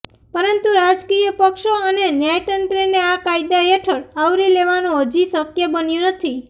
પરંતુ રાજકીય પક્ષો અને ન્યાયતંત્રને આ કાયદા હેઠળ આવરી લેવાનું હજી શક્ય બન્યું નથી